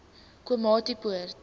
komatipoort